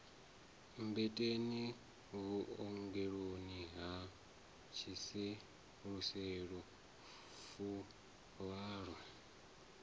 mmbeteni vhuongeloni ha tshiseluselu fuvhalo